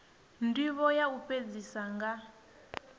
ndivho ya u fhedzisa nga